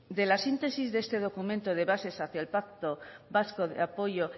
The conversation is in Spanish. de la síntesis de este documento de bases